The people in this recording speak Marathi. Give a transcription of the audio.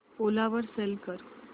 ओला वर सेल कर